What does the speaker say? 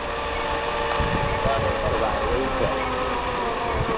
બરોબર ભાઈ એવું છે.